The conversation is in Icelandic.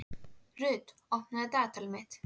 Rut, opnaðu dagatalið mitt.